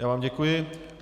Já vám děkuji.